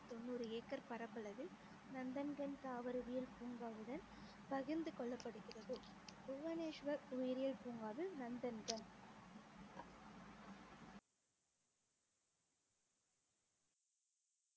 தொண்ணூறு ஏக்கர் பரப்பளவில் நந்தன்கன் தாவரவியல் பூங்காவுடன் பகிர்ந்து கொள்ளப்படுகிறது புவனேஸ்வர் உயிரியல் பூங்காவில் நந்தன்கன்